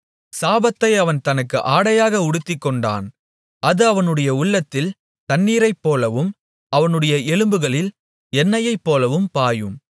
சாபத்தை அவன் தனக்கு ஆடையாக உடுத்திக்கொண்டான் அது அவனுடைய உள்ளத்தில் தண்ணீரைப்போலவும் அவனுடைய எலும்புகளில் எண்ணெயைப்போலவும் பாயும்